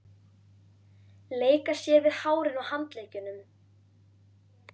Leika sér við hárin á handleggjunum.